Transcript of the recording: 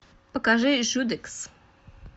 покажи жудекс